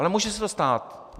Ale může se to stát.